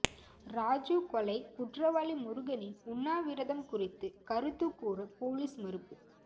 ராஜீவ் கொலை குற்றவாளி முருகனின் உண்ணாவிரதம் குறித்து கருத்து கூற போலீஸ் மறுப்பு